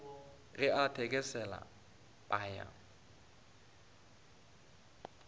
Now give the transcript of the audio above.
ge a thekesela a phaya